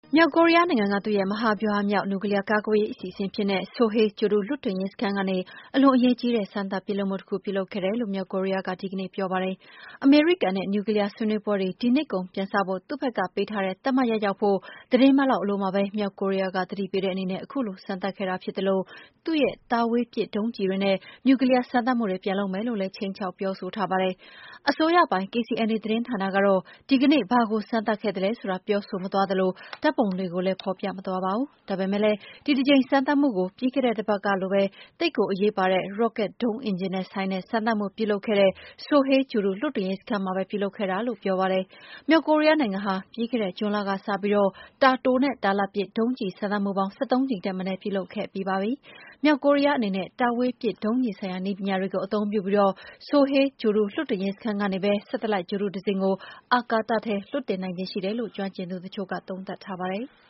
မြောက်ကိုရီးယားနိုင်ငံရဲ့ မဟာဗျူဟာမြောက် နျူကလီးယား ကာကွယ်ရေး အစီအစဉ်အဖြစ်နဲ့ Sohae ဂြိုဟ်တုလွှတ်တင်ရေး စခန်းကနေ အလွန်အရေးကြီးတဲ့ စမ်းသပ်ပစ်လွှတ်မှုတခု ပြုလုပ်ခဲ့တယ်လို့ မြောက်ကိုရီးယားက ဒီကနေ့ပြောပါတယ်။ အမေရိကန်နဲ့ နျူကလီးယား ဆွေးနွေးပွဲတွေ ဒီနှစ်ကုန်ပြန်စဖို့ သူ့ဘက်ကပေးထားတဲ့ သတ်မှတ်ရက်ရောက်ဖု့ိ သီတင်းပတ်လောက် အလိုမှာပဲ မြောက်ကိုရီးယားက သတိပေးတဲ့အနေနဲ့ ခုလို စမ်းသပ်ခဲ့တာဖြစ်သလို သူ့ရဲ့ တာဝေးပစ်ဒုံးကျည်တွေနဲ့ နျူကလီးယား စမ်းသပ်မှုတွေ ပြန်လုပ်မယ်လို့လည်း ခြိမ်းခြောက် ပြောဆိုထားပါတယ်။ အစိုးရပိုင် KCNA သတင်းဌာနကတော့ ဒီကနေ့ ဘာကိုစမ်းသပ်ခဲ့တာလဲဆိုတာ ပြောဆိုမသွားသလို ဓာတ်ပုံတွေကိုလည်း ဖော်ပြမသွားပါဘူး။ ဒါပေမယ့် ဒီတကြိမ် စမ်းသပ်မှုကိုလည်း ပြီးခဲ့တဲ့တပတ်ကပဲ သိပ်ကိုအရေးပါတဲ့ ရော့ကက်ဒုံးအင်ဂျင်နဲ့ ဆိုင်တဲ့ စမ်းသပ်မှုတခုကို ပြုလုပ်ခဲ့တဲ့ Sohae ဂြိုလ်တုလွှတ်တင်ရေးစခန်းမှာပဲ ပြုလုပ်ခဲ့တာလို့ ပြောပါတယ်။ မြောက်ကိုရီးယားနိုင်ငံဟာ ပြီးခဲ့တဲ့ ဇွန်လကစပြီး တာတိုနဲ့ တာလတ်ပစ် ဒုံးကျည်စမ်းသပ်မှုပေါင်း ၁၃ ကြိမ်ထက်မနည်း ပြုလုပ်ခဲ့ပြီးပါပြီ။ မြောက်ကိုရီးယားအနေနဲ့ တာဝေးပစ်ဒုံးကျည်ဆိုင်ရာ နည်းပညာတွေကို အသုံးပြုပြီး Sohae ဂြိုဟ်တုလွှတ်တင်ရေးစခန်းကနေပဲ Satellite ဂြိုလ်တုတစင်းကို အာကာသထဲ လွှတ်တင်နိုင်ခြေရှိတယ်လို့ ကျွမ်းကျင်သူတချို့က သုံးသပ်ထားပါတယ်။